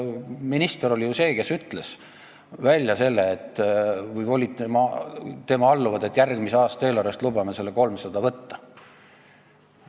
Minister oli ju see, kes ütles välja selle , et lubame järgmise aasta eelarvest selle 300 000 eurot võtta.